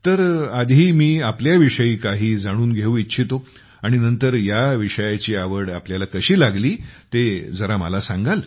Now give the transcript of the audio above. तर आधी मी आपल्याविषयी काही जाणून घेऊ इच्छितो आणि नंतर ह्या विषयाची आवड आपल्याला कशी लागली ते जरा मला सांगाल